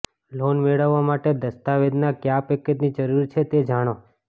loan મેળવવા માટે દસ્તાવેજના કયા પેકેજની જરૂર છે તે જાણો